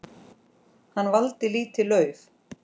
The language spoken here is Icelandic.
Hann valdi lítið lauf.